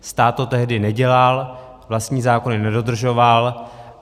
Stát to tehdy nedělal, vlastní zákony nedodržoval.